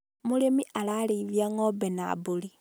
mũrĩmi arareithia ngombe na mbũri .